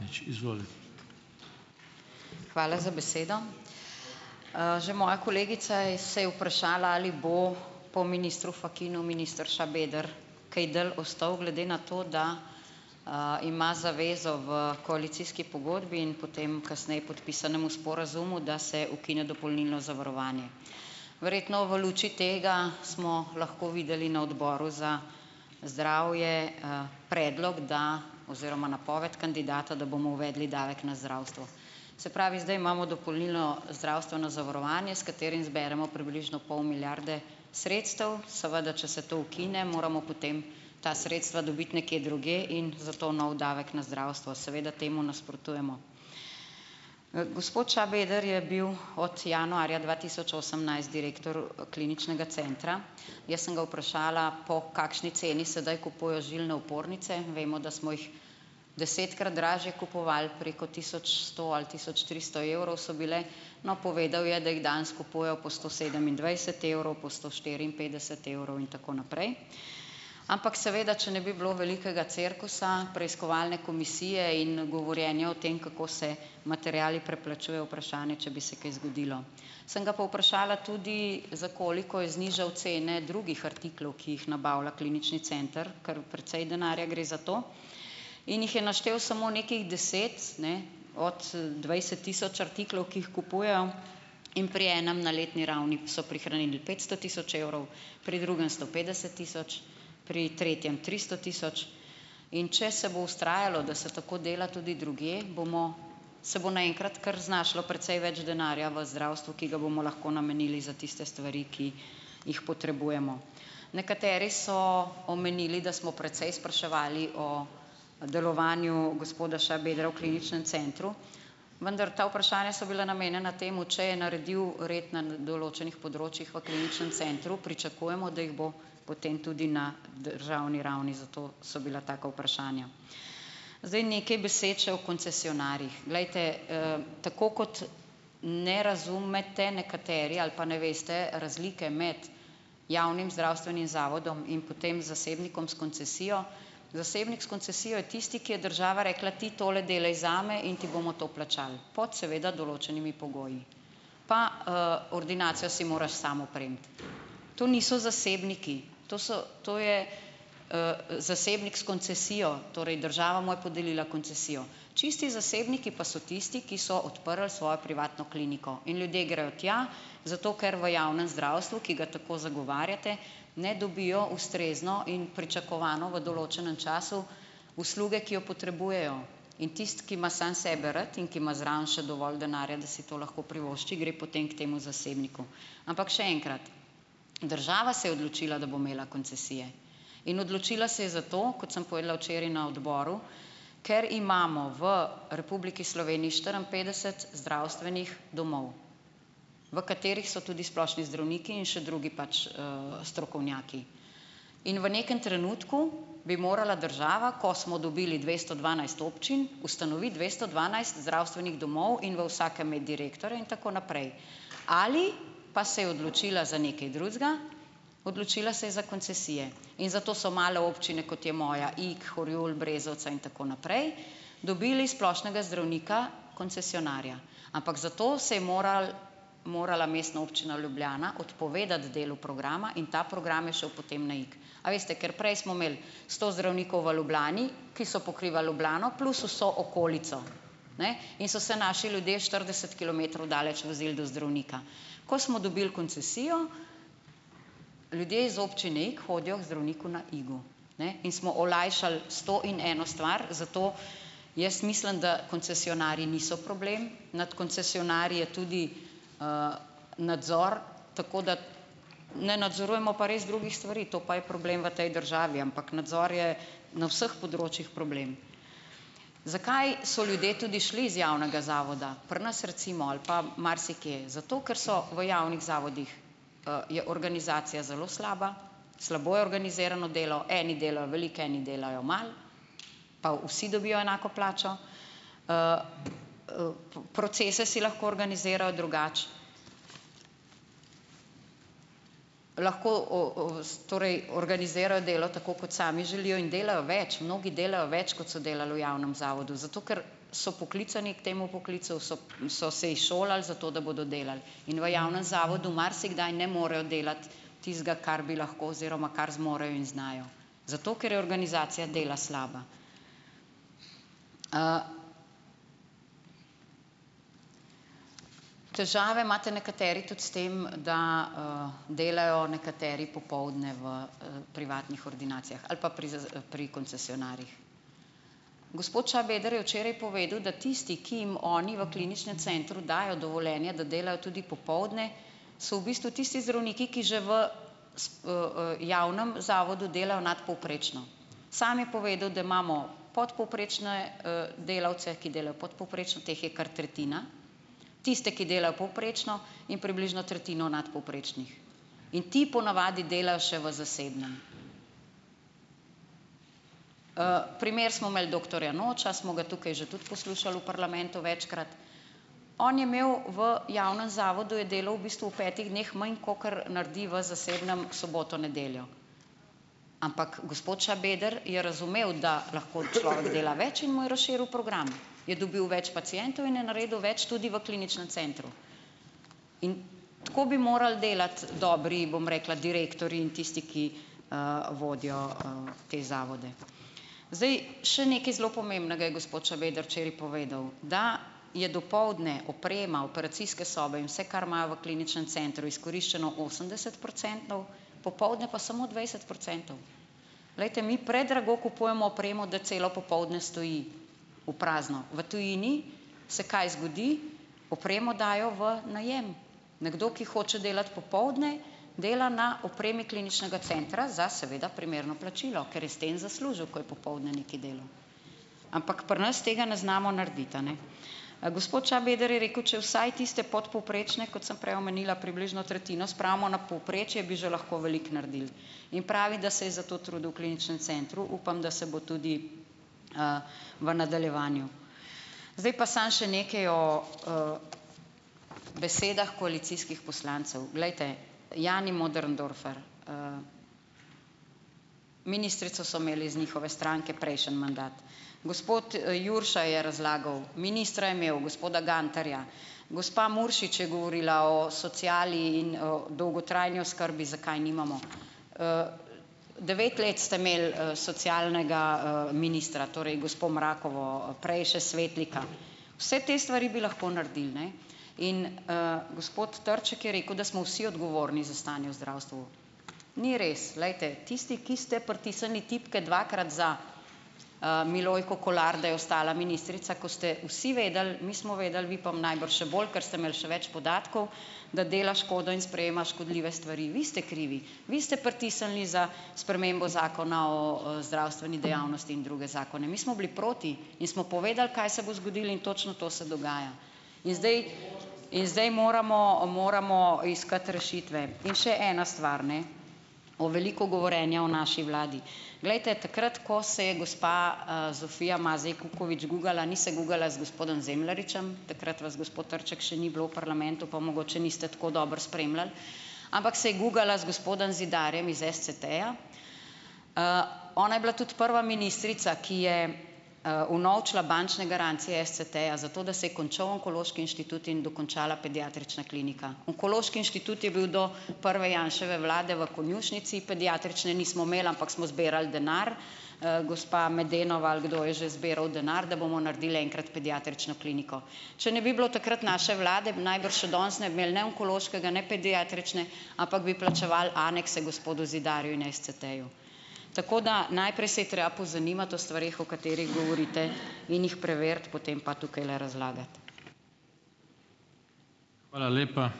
Hvala za besedo. Že moja kolegica je se je vprašala, ali bo po ministru Fakinu minister Šabeder kaj dalj ostal, glede na to, da, ima zavezo v koalicijski pogodbi in potem kasneje podpisanemu sporazumu, da se ukine dopolnilno zavarovanje. Verjetno v luči tega smo lahko videli na odboru za zdravje, predlog, da oziroma napoved kandidata, da bomo uvedli davek na zdravstvo. Se pravi, zdaj imamo dopolnilno zdravstveno zavarovanje, s katerim zberemo približno pol milijarde sredstev. Seveda če se to ukine, moramo potem ta sredstva dobiti nekje drugje, in zato nov davek na zdravstvo. Seveda temu nasprotujemo. Gospod Šabeder je bil od januarja dva tisoč osemnajst direktor Kliničnega centra. Jaz sem ga vprašala, po kakšni ceni sedaj kupujejo žilne opornice. Vemo, da smo jih desetkrat dražje kupovali, preko tisoč sto ali tisoč tristo evrov so bile. No, povedal je, da jih danes kupujejo po sto sedemindvajset evrov, po sto štiriinpetdeset evrov in tako naprej. Ampak seveda če ne bi bilo velikega cirkusa preiskovalne komisije in govorjenja o tem, kako se materiali preplačujejo, vprašanje, če bi se kaj zgodilo. Sem ga pa vprašala tudi, za koliko je znižal cene drugih artiklov, ki jih nabavlja Klinični center, kar precej denarja gre za to. In jih je naštel samo nekaj deset, ne, od dvajset tisoč artiklov, ki jih kupujejo in pri enem na letni ravni so prihranili pesto tisoč evrov, pri drugem sto petdeset tisoč, pri tretjem tristo tisoč. In če se bo vztrajalo, da se tako dela tudi drugje, bomo se bo naenkrat kar znašlo precej več denarja v zdravstvu, ki ga bomo lahko namenili za tiste stvari, ki jih potrebujemo. Nekateri so omenili, da smo precej spraševali o delovanju gospoda Šabedra v Kliničnem centru. Vendar ta vprašanja so bila namenjena temu, če je naredil red na določenih področjih v Kliničnem centru, pričakujemo, da jih bo potem tudi na državni ravni, zato so bila taka vprašanja. Zdaj. Nekaj besed še o koncesionarjih. Glejte, tako kot ne razumete nekateri ali pa ne veste razlike med javnim zdravstvenim zavodom in potem zasebnikom s koncesijo. Zasebnik s koncesijo je tisti, ki je država rekla: "Ti tole delaj zame in ti bomo to plačali pod, seveda, določenimi pogoji. Pa, ordinacijo si moraš samo opremiti." To niso zasebniki. To so, to je, zasebnik s koncesijo. Torej, država mu je podelila koncesijo. Čisti zasebniki pa so tisti, ki so odprli svojo privatno kliniko. In ljudje grejo tja, zato ker v javnem zdravstvu, ki ga tako zagovarjate, ne dobijo ustrezno in pričakovano v določenem času usluge, ki jo potrebujejo. In tisti, ki ima sam sebe rad in ki ima zraven še dovolj denarja, da si to lahko privošči, gre potem k temu zasebniku. Ampak še enkrat, država se je odločila, da bo imela koncesije. In odločila se je zato, kot sem povedala včeraj na odboru, ker imamo v Republiki Sloveniji štiriinpetdeset zdravstvenih domov, v katerih so tudi splošni zdravniki in še drugi pač, strokovnjaki. In v nekem trenutku bi morala država, ko smo dobili dvesto dvanajst občin, ustanoviti dvesto dvanajst zdravstvenih domov in v vsakem imeti direktorja in tako naprej. Ali pa se je odločila za nekaj drugega, odločila se je za koncesije. In zato so male občine, kot je moja, Ig, Horjul, Brezovica in tako naprej, dobili splošnega zdravnika koncesionarja. Ampak zato se je moral, morala Mestna občina Ljubljana odpovedati delu programa in ta program je šel potem na Ig. A. Veste, ker prej smo imeli sto zdravnikov v Ljubljani, ki so pokrivali Ljubljano plus vso okolico. Ne. In so se naši ljudje štirideset kilometrov daleč vozili do zdravnika. Ko smo dobili koncesijo, ljudje iz občine Ig hodijo k zdravniku na Igu. Ne. In smo olajšali sto in eno stvar. Zato jaz mislim, da koncesionarji niso problem. Nad koncesionarji je tudi, nadzor. Tako da ne nadzorujemo pa res drugih stvari, to pa je problem v tej državi, ampak nadzor je na vseh področjih problem. Zakaj so ljudje tudi šli iz javnega zavoda, pri nas recimo ali pa marsikje - zato, ker so v javnih zavodih, je organizacija zelo slaba, slabo je organizirano delo, eni delajo veliko, eni delajo malo, pa vsi dobijo enako plačo. Procese si lahko organizirajo drugače. Lahko torej organizirajo delo tako, kot sami želijo, in delajo več, mnogi delajo več, kot so delali v javnem zavodu, zato ker so poklicani k temu poklicu, so so se izšolali za to, da bodo delali. In v javnem zavodu marsikdaj ne morejo delati tistega, kar bi lahko oziroma kar zmorejo in znajo, zato ker je organizacija dela slaba. Težave imate nekateri tudi s tem, da, delajo nekateri popoldne v privatnih ordinacijah ali pa pri pri koncesionarjih. Gospod Šabeder je včeraj povedal, da tisti, ki jim oni v kliničnem centru dajo dovoljenje, da delajo tudi popoldne, so v bistvu tisti zdravniki, ki že v v, javnem zavodu delajo nadpovprečno. Sam je povedal, da imamo podpovprečne, delavce, ki delajo podpovprečno, teh je kar tretjina, tiste, ki delajo povprečno, in približno tretjino nadpovprečnih in ti ponavadi delajo še v zasebnem. primer smo imeli doktorja Noča, smo ga tukaj že tudi poslušali v parlamentu večkrat. On je imel v javnem zavodu je delal v bistvu v petih dneh manj, kakor naredi v zasebnem soboto, nedeljo. Ampak gospod Šabeder je razumel, da lahko človek dela več, in mu je razširil program. Je dobil več pacientov in je naredil več tudi v kliničnem centru. In tako bi moral delati dobri, bom rekla, direktorji in tisti, ki, vodijo, te zavode. Zdaj, še nekaj zelo pomembnega je gospod Šabeder včeraj povedal, da je dopoldne oprema operacijske sobe in vse, kar imajo v kliničnem centru, izkoriščeno osemdesetprocentno, popoldne pa samo dvajset procentov. Glejte, mi predrago kupujemo opremo, da celo popoldne stoji v prazno. V tujini se kaj zgodi, opremo dajo v najem. Nekdo, ki hoče delati popoldne, dela na opremi kliničnega centra, za seveda primerno plačilo, ker je s tem zaslužil, ko je popoldne nekaj delal. Ampak pri nas tega ne znamo narediti, a ne. Gospod Šabeder je rekel, če vsaj tiste podpovprečne, kot sem prej omenila, približno tretjino, spravimo na povprečje, bi že lahko veliko naredili. In pravi, da se je za to trudil v kliničnem centru, upam, da se bo tudi, v nadaljevanju. Zdaj pa samo še nekaj o, besedah koalicijskih poslancev. Glejte, Jani Möderndorfer, ministrico so imeli iz njihove stranke prejšnji mandat. Gospod Jurša je razlagal, ministra je imel, gospoda Gantarja. Gospa Muršič je govorila o sociali in o dolgotrajni oskrbi, zakaj je nimamo. Devet let ste imeli, socialnega, ministra, torej gospo Mrakovo, prej še Svetlika. Vse te stvari bi lahko naredil, ne, in, Gospod Trček je rekel, da smo vsi odgovorni za stanje v zdravstvu. Ni res, glejte, tisti, ki ste pritisnili tipke dvakrat za, Milojko Kolar, da je ostala ministrica, ko ste vsi vedeli, mi smo vedeli, vi pa najbrž še bolj, ker ste imeli še več podatkov, da dela škodo in sprejema škodljive stvari. Vi ste krivi, vi ste pritisnili za spremembo Zakona o, zdravstveni dejavnosti in druge zakone. Mi smo bili proti in smo povedali, kaj se bo zgodilo, in točno to se dogaja. In zdaj in zdaj moramo, moramo iskati rešitve. In še ena stvar, ne, o veliko govorjenja o naši vladi. Glejte, takrat, ko se je gospa, Zofija Mazej Kukovič gugala, ni se gugala z gospodom Zemljaričem - takrat vas, gospod Trček, še ni bilo v parlamentu, pa mogoče niste tako dobro spremljal -, ampak se je gugala z gospodom Zidarjem iz SCT-ja. Ona je bila tudi prva ministrica, ki je, unovčila bančne garancije SCT-ja, zato da se je končal onkološki inštitut in dokončala pediatrična klinika. Onkološki inštitut je bil do prve Janševe vlade v konjušnici, pediatrične nismo imeli, ampak smo zbirali denar, gospa Medenova ali kdo je že zbiral denar, da bomo naredili enkrat pediatrično kliniko. Če ne bi bilo takrat naše vlade, najbrž še danes ne bi imeli ne onkološkega ne pediatrične, ampak bi plačevali anekse gospodu Zidarju in SCT-ju. Tako da najprej se je treba pozanimati o stvareh, o katerih govorite, in jih preveriti, potem pa tukajle razlagati.